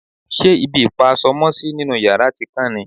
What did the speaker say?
ṣe ibi ìpa aṣọ mọ́sí nínú yàrá ti kán ni?